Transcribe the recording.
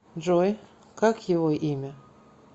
джой как его имя